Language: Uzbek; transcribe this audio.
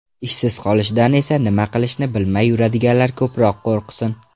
Ishsiz qolishdan esa nima qilishini bilmay yuradiganlar ko‘proq qo‘rqsin.